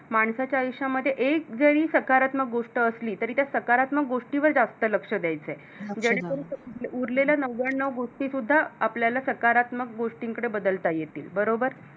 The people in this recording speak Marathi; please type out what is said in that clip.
माणसाच्या आयुष्यामध्ये एक जरी सकारात्मक गोष्ट असली तरी त्या सकारात्मक गोष्टीवर जास्त लक्ष द्यायचं आहे जेणे करून उरलेला नव्यानऊ गोष्टीसुद्धा आपल्याला सकारात्मक गोष्टींकडे बदलता येतील बरोबर?